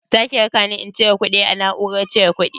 Zaka rakani in cire kuɗi a na'urar cire kuɗi?